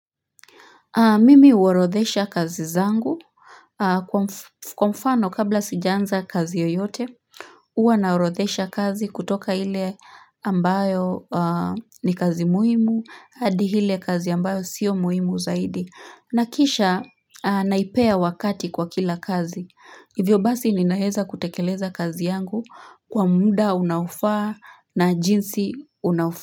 Mimi uorodhesha kazi zangu kwa mfano kabla sijaanza kazi yoyote uwa naorodhesha kazi kutoka ile ambayo ni kazi muhimu hadi hile kazi ambayo sio muhimu zaidi na kisha naipea wakati kwa kila kazi hivyo basi ninaeza kutekeleza kazi yangu kwa muda unaofaa na jinsi unaofaa.